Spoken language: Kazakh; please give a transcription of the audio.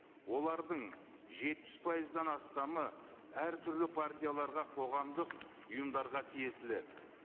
олардың жетпіс пайыздан астамы әртүрлі партияларға қоғамдық ұйымдарға тиесілі